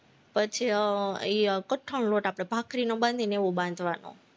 પછી અમ એ કઠણ લોટ આપણે ભાખરીનો બાંધીને એવો બાંધવાનો